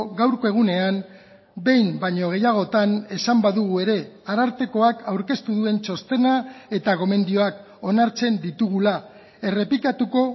gaurko egunean behin baino gehiagotan esan badugu ere arartekoak aurkeztu duen txostena eta gomendioak onartzen ditugula errepikatuko